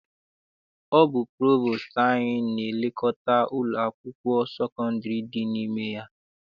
Ọ bụ provostu anyị na-elekọta ụlọ akwụkwọ sekondiri dị n'ime ya.